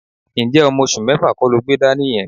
Ǹjẹ́ ọmọ oṣù mẹ́fà kọ́ lo gbé dání yẹn?